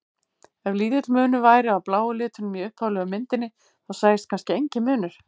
Ef lítill munur væri á bláu litunum í upphaflegu myndinni þá sæist kannski enginn munur.